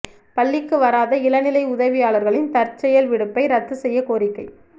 பள்ளிக்கு வராத இளநிலை உதவியாளர்களின் தற்செயல் விடுப்பை ரத்து செய்ய கோரிக்கை